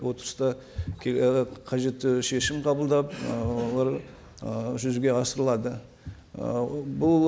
отырыста і қажетті шешім қабылдап ыыы олар ы жүзеге асырылады ы бұл